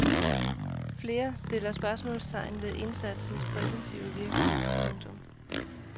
Flere stiller spørgsmålstegn vec indsatsens præventive virkning. punktum